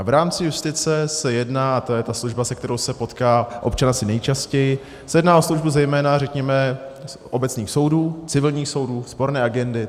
A v rámci justice se jedná - a to je ta služba, se kterou se potká občan asi nejčastěji - se jedná o službu zejména, řekněme, obecných soudů, civilních soudů, sporné agendy.